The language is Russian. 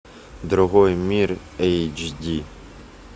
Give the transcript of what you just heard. другой мир эйч ди